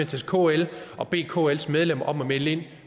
til kl og bede kls medlemmer om at melde ind